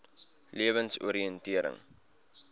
lewensoriëntering